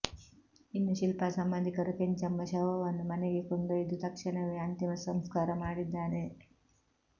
ಇನ್ನು ಶಿಲ್ಪಾ ಸಂಬಂಧಿಕರು ಕೆಂಚಮ್ಮ ಶವವನ್ನು ಮನೆಗೆ ಕೊಂಡೊಯ್ದು ತಕ್ಷಣವೇ ಅಂತಿಮ ಸಂಸ್ಕಾರ ಮಾಡಿದ್ದಾರೆ